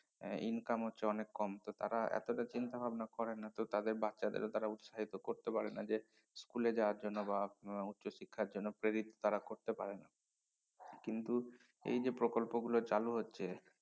এর income হচ্ছে অনেক কম তো তারা এতটা চিন্তা ভাবনা করে না তো তাদের বাচ্চাদের তারা উৎসাহিত করতে পারে না যে school এ যাওয়ার জন্য বা উচ্চশিক্ষার জন্য প্রেরিত তারা করতে পারে না কিন্তু এই যে প্রকল্পগুলো চালু হচ্ছে